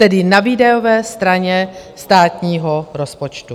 Tedy na výdajové straně státního rozpočtu.